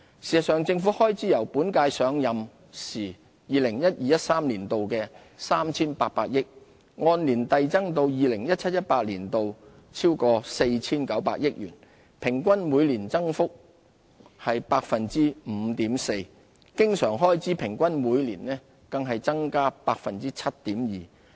事實上，政府總開支由本屆上任時 2012-2013 年度的 3,800 億元，按年遞增至 2017-2018 年度逾 4,900 億元，平均每年增加 5.4%， 經常開支平均每年更增加 7.2%。